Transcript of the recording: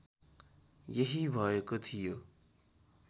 यही भएको थियो